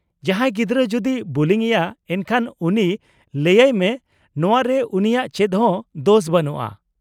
-ᱡᱟᱦᱟᱸᱭ ᱜᱤᱫᱽᱨᱟᱹ ᱡᱩᱫᱤ ᱠᱚ ᱵᱩᱞᱤ ᱮᱭᱟ ᱮᱱᱠᱷᱟᱱ ᱩᱱᱤ ᱞᱟᱹᱭᱟᱭ ᱢᱮ ᱱᱚᱶᱟ ᱨᱮ ᱩᱱᱤᱭᱟᱜ ᱪᱮᱫ ᱦᱚᱸ ᱫᱳᱥ ᱵᱟᱹᱱᱩᱜᱼᱟ ᱾